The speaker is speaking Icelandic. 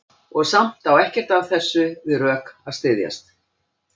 Og samt á ekkert af þessu við rök að styðjast.